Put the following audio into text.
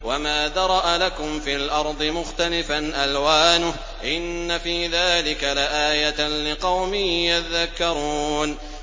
وَمَا ذَرَأَ لَكُمْ فِي الْأَرْضِ مُخْتَلِفًا أَلْوَانُهُ ۗ إِنَّ فِي ذَٰلِكَ لَآيَةً لِّقَوْمٍ يَذَّكَّرُونَ